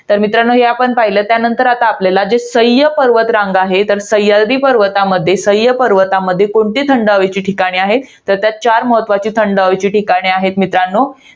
तर मित्रांनो, हे पण पाहिलं. त्यानंतर आपल्याला जे सह्य पर्वतरांगा आहेत. तर सह्याद्री पर्वतामध्ये, सह्य पर्वतामध्ये, कोणते हवेचे ठिकाणे आहेत. तर त्यात चार महत्वाचे थंड हवेचे ठिकाणे आहेत मित्रांनो.